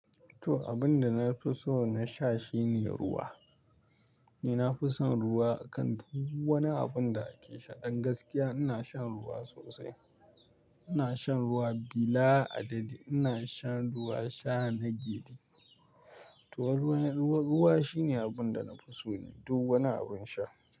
To, abin da na fi so na sha shine ruwa. Ni na fi son ruwa akan duk wani abin da ake sha. Ɗan gaskiya ina shan ruwa sosai. Ina shan ruwa bila adadi. Ina shan ruwa sha na gyidi. To ruwa, ruwa shine abin da na fi so duk wani abun sha.